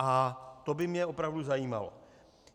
A to by mě opravdu zajímalo.